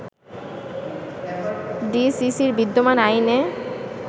ডিসিসির বিদ্যমান আইনে